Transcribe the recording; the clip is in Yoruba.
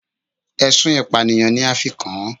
Ẹ̀sùn ìpànìyàn ni a fi kàn án